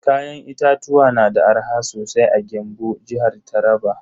Kayan itatuwa na da arha sosai a Gembu, jihar Taraba.